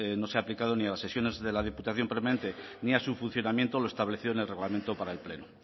no se ha aplicado ni a las sesiones de la diputación permanente ni a su funcionamiento lo establecido en el reglamento para el pleno